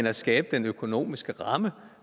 at skabe den økonomiske ramme